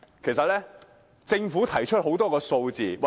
其實，政府已經提供很多數字。